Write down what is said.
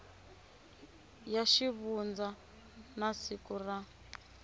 ya xivundza na siku ra